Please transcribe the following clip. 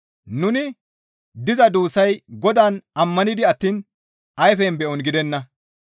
Nuni diza duussay Godaan ammanidi attiin ayfen be7on gidenna.